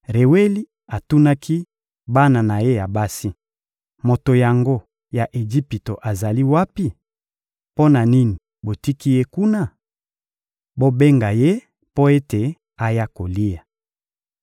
Reweli atunaki bana na ye ya basi: — Moto yango ya Ejipito azali wapi? Mpo na nini botiki ye kuna? Bobenga ye mpo ete aya kolia.